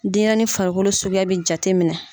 Denyɛrɛnin farikolo sukuya be jateminɛ.